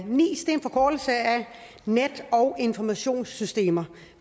nis er en forkortelse af net og informationssystemer